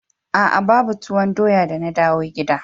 A'a ba tuwon doya da na dawo gida.